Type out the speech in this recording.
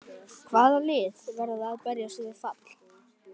Hvaða lið verða að berjast við fall?